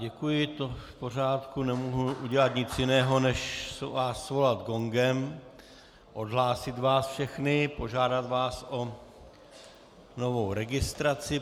Děkuji, to je v pořádku, nemohu udělat nic jiného než vás svolat gongem, odhlásit vás všechny, požádat vás o novou registraci.